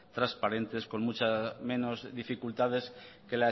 transparentes con muchas menos dificultades que